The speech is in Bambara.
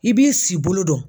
I b'i si bolo dɔn.